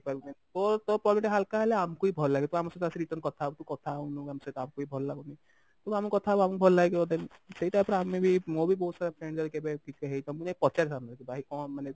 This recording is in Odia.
କହିବୁ ନାଇଁ ତୋ ତୋ problem ଟିକେ ହାଲକା ହେଲେ ଆମକୁ ବି ଭଲ ଲାଗିବ ତୁ ଆମ ସହିତ ଆସିକି return କଥା ହବୁ ତୁ କଥା ହଉନୁ ଆମ ସହିତ ଆମକୁ ବି ଭଲ ଲାଗୁନି ତୁ ଆମକୁ କଥା ହବୁ ଆମକୁ ବି ଭଲ ଲାଗିବ then ସେଇଟା ପରେ ଆମେ ବି ମୋର ବି ବହୁତ ସାରା friend ଯଦି କେବେ କିଛି ହେଇଥିବ ମୁଁ ଯାଇକି ପଚାରିଥାନ୍ତ କି ଭାଇ